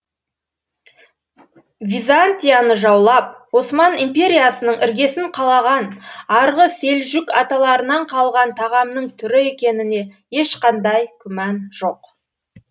византияны жаулап осман империясының іргесін қалаған арғы селжүк аталарынан қалған тағамның түрі екеніне ешқандай күмән жоқ